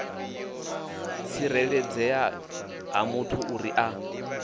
tsireledzea ha muthu uri a